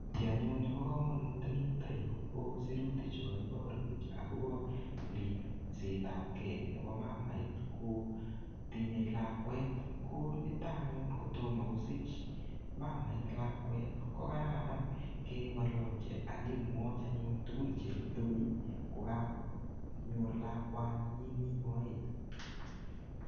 Ki anyun nebo kamanut ko eng yuto yu ko sirutichu kaiborwech agobo ripsetab kei nebo mamait kotinyei lakwet. Ko nito anyun kotomo kosich mamait lakwet, ko kararan kengololchi ak kemwoi anyun tugun che rubei kogakonyor lakwani nyin mi moet.